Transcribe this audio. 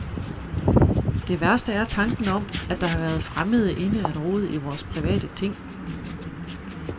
Det værste er tanken om, at der har været fremmede inde at rode i vores private ting.